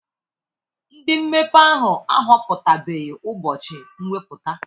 Ndị mmepe ahụ ahọpụtabeghị ụbọchị mwepụta.